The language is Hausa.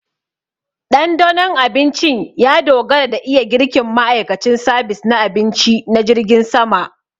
Ɗandanon abincin ya dogara da iya girkin ma'aikacin sabis na abinci na jirgin sama